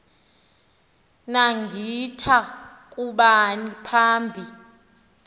naggitha kubani phambi